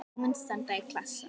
Blómin standa í klasa.